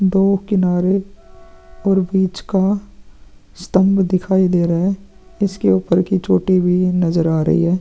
दो किनारे और बीच का स्तम्भ दिखाई दे रहा है इसके उपर की चोटी भी नज़र आ रही है।